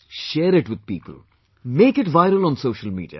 Share it with people, make it viral on social media